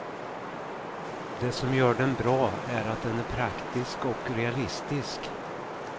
Det som gör den bra är att den är praktisk och realistisk.